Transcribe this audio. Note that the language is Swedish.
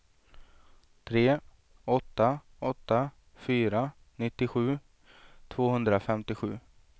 tre åtta åtta fyra nittiosju tvåhundrafemtiosju